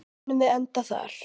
Munum við enda þar?